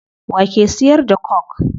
Wa ke siyar da coke?